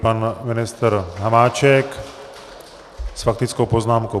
Pan ministr Hamáček s faktickou poznámkou.